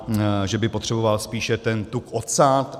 Že by potřeboval spíše ten tuk odsát.